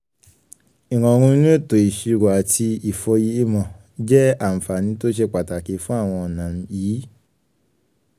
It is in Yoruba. ìrọ̀rùn inú ètò ìṣirò àti ìfòyemọ̀ jẹ́ àǹfààní tó ṣe pàtàkì fú́n àwọn ọ̀nà yìí